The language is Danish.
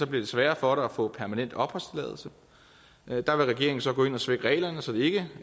det sværere for dig at få permanent opholdstilladelse der vil regeringen så gå ind og svække reglerne så det ikke